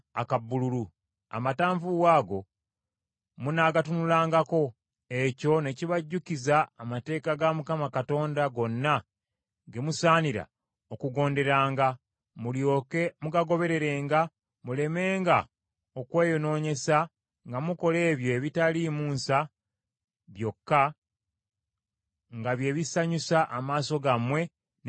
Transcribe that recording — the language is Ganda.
Amatanvuuwa ago munaagatunulangako, ekyo ne kibajjukiza amateeka ga Mukama Katonda gonna ge musaanira okugonderanga, mulyoke mugagobererenga mulemenga okweyonoonyesa nga mukola ebyo ebitaliimu nsa byokka nga bye bisanyusa amaaso gammwe n’emitima gyammwe.